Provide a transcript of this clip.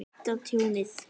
Meta tjónið.